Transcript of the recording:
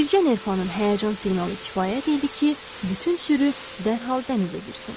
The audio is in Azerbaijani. Bircə nerpanın həyəcan siqnalı kifayət idi ki, bütün sürü dərhal dənizə girsin.